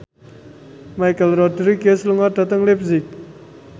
Michelle Rodriguez lunga dhateng leipzig